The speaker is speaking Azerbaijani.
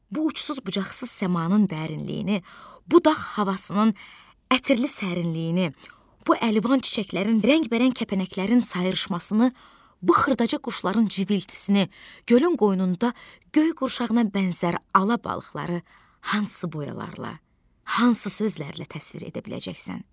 Bu uçsuz-bucaqsız səmanın dərinliyini, bu dağ havasının ətirli sərinliyini, bu əlvan çiçəklərin rəngbərəng kəpənəklərin sayrışmasını, bu xırdaca quşların civiltisini, gölün qoynunda göy qurşağına bənzər ala balıqları hansı boyalarla, hansı sözlərlə təsvir edə biləcəksən?